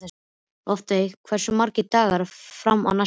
Loftveig, hversu margir dagar fram að næsta fríi?